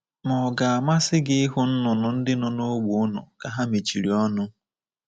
Ma ọ̀ ga-amasị gị ịhụ nnụnụ ndị nọ n’ógbè unu ka ha mechiri ọnụ?